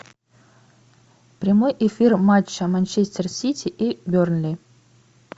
прямой эфир матча манчестер сити и бернли